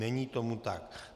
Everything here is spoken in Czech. Není tomu tak.